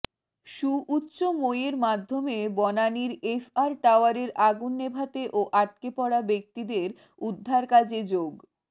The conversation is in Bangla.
সুউচ্চ মইয়ের মাধ্যমে বনানীর এফআর টাওয়ারের আগুন নেভাতে ও আটকে পড়া ব্যক্তিদের উদ্ধারকাজে যোগ